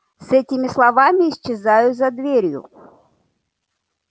с этими словами исчезаю за дверью